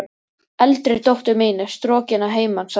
Eldri dóttir mín er strokin að heiman, sagði hún.